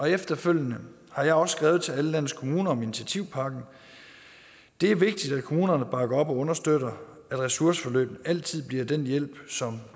efterfølgende har jeg også skrevet til alle landets kommuner om initiativpakken det er vigtigt at kommunerne bakker op og understøtter at ressourceforløb altid bliver den hjælp som